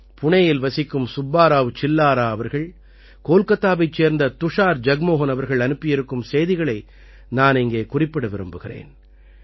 புணேயில் வசிக்கும் சுப்பா ராவ் சில்லாரா அவர்கள் கோல்கத்தாவைச் சேர்ந்த துஷார் ஜக்மோஹன் அவர்கள் அனுப்பியிருக்கும் செய்திகளை நான் இங்கே குறிப்பிட விரும்புகிறேன்